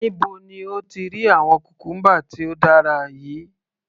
Níbo ni o ti rí àwọn cucumber tí ó dára yìí?.